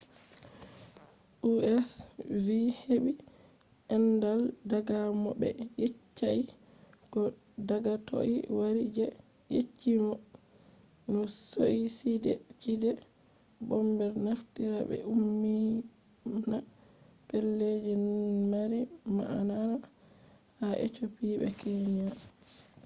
u.s. vi heɓi andal daga mo ɓe yeccai ko daga toi wari je yecci no suicide bombers naftirta ɓe ummina pellelji mari ma’ana ” ha ethiopia be kenya